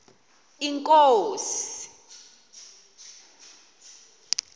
inkosi